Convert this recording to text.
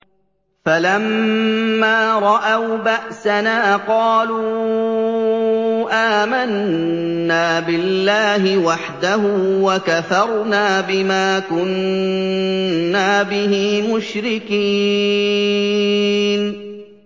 فَلَمَّا رَأَوْا بَأْسَنَا قَالُوا آمَنَّا بِاللَّهِ وَحْدَهُ وَكَفَرْنَا بِمَا كُنَّا بِهِ مُشْرِكِينَ